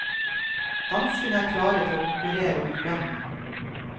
Danskene er klare til å konkurrere om lønn.